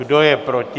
Kdo je proti?